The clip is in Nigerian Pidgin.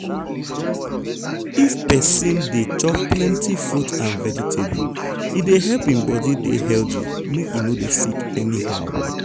if persin dey persin dey chop plenty fruit and vegetable e dey help hin body dey healthy make e no dey sick anyhow.